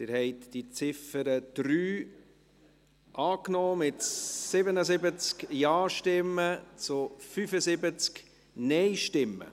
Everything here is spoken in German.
Sie haben die Ziffer 3 als Motion angenommen, mit 77 Ja- zu 75 Nein-Stimmen.